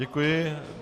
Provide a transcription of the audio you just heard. Děkuji.